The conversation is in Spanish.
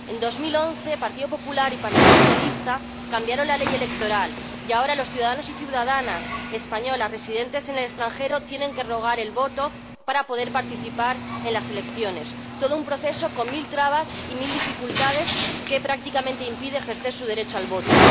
En 2011, el Partido Popular y el Partido Socialista cambiaron la ley electoral y ahora los ciudadanos y ciudadanas españoles residentes en el extranjero tienen que rogar el voto para poder participar en las elecciones, todo un proceso con mil trabas y mil dificultades que, prácticamente, les impide ejercer su derecho al voto.